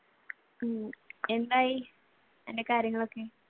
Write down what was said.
ഉം എന്തായി കാര്യങ്ങളൊക്ക?